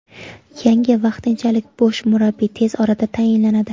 Yangi vaqtinchalik bosh murabbiy tez orada tayinlanadi.